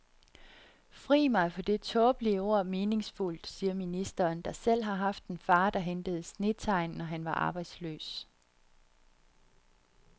Fri mig for det tåbelige ord meningsfuldt, siger ministeren, der selv har haft en far, der hentede snetegn når han var arbejdsløs.